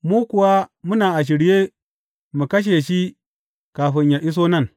Mu kuwa muna a shirye mu kashe shi kafin yă iso nan.